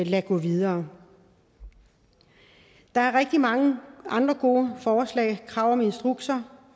lade gå videre der er rigtig mange andre gode forslag så krav om instrukser